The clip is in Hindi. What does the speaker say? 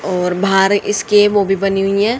और बाहर इसके मूवी बनी हुई हैं।